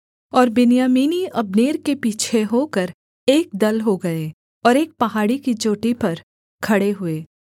और बिन्यामीनी अब्नेर के पीछे होकर एक दल हो गए और एक पहाड़ी की चोटी पर खड़े हुए